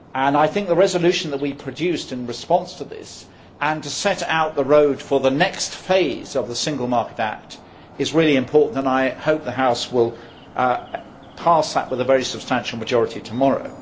I think the resolution that we produced in response to this and marking out the road for the next phase of the Single Market Act is really important, and I hope the House will pass that with a very substantial majority tomorrow.